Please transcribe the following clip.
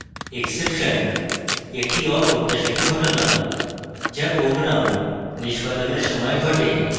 exception একটি অপ্রত্যাশিত ঘটনা যা program নিষ্পাদনের সময় ঘটে